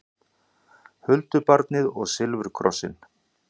Huldubarnið og silfurkrossinn